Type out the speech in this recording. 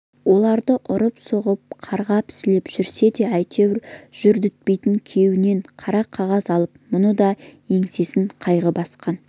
оларды ұрып-соғып қарғап-сілеп жүрсе де әйтеуір жүдетпейді күйеуінен қара қағаз алып мұның да еңсесін қайғы басқан